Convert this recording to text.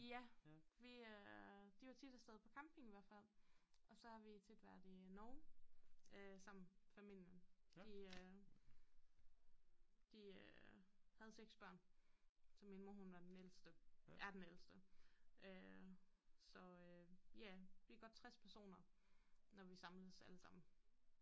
Ja vi øh de var tit afsted på camping hvert fald og så har vi tit været i Norge øh sammen familien de øh de øh havde 6 børn så min mor hun var den ældste er den ældste øh så øh ja vi godt 60 personer når vi samles alle sammen